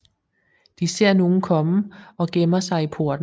De ser nogen komme og gemmer sig i porten